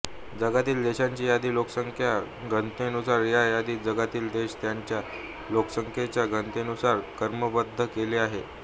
जगातील देशांची यादी लोकसंख्या घनतेनुसार ह्या यादीत जगातील देश त्यांच्या लोकसंख्येच्या घनतेनुसार क्रमबद्ध केले आहेत